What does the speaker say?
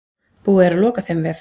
Búið er að loka þeim vef.